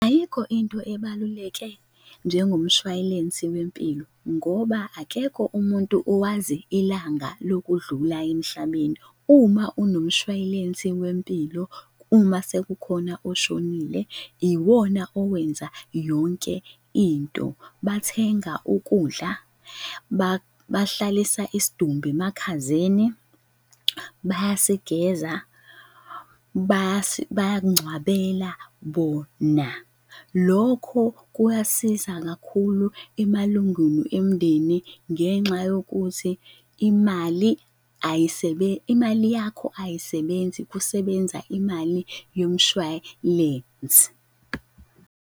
Ayikho into ebaluleke njengomshwayilensi wempilo ngoba akekho umuntu owazi ilanga lokudlula emhlabeni uma unomshwayilensi wempilo, uma sekukhona oshonile iwona owenza yonke into. Bathenga ukudla, bahlalisa isidumbu emakhazeni, bayasigeza, bayakungcwabela bona. Lokho kuyasiza kakhulu emalungwini emndeni ngenxa yokuthi imali ayisebenzi, imali yakho ayisebenzi kusebenza imali yomshwalensi.